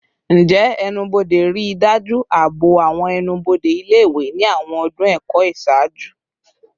Njẹ ẹnu-bode rii daju aabo awọn ẹnu-bode ile-iwe ni awọn ọdun ẹkọ iṣaaju?